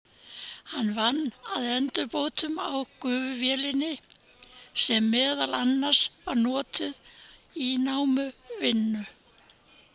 Hann vann að endurbótum á gufuvélinni sem meðal annars var notuð í námuvinnu.